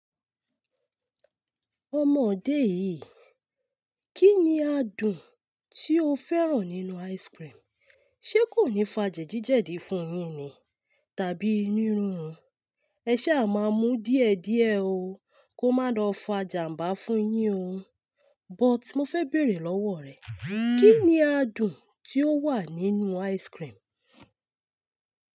Ọmọodé yìí, kí ni adùn tí ó fẹ́ràn nínú ice cream? Ṣé kò ní fa jẹ̀dìjẹ̀dí fún yín ni, tàbí inú rirun? Ẹ ṣa a máa mú díẹ̀díẹ̀ o kó má lọ fa jàmbá fún yín o. But mo fẹ́ bèerè lọ́wọ́ o rẹ, kí ni adùn tí ó wà nínú ice cream?